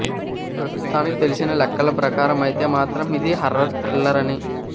ప్రస్తుతానికి తెలిసిన లెక్కల ప్రకారం అయితే మాత్రం ఇది హార్రర్ థ్రిల్లర్ అని